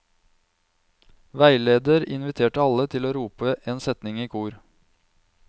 Veileder inviterte alle til å rope en setning i kor.